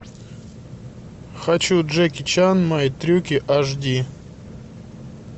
хочу джеки чан мои трюки аш ди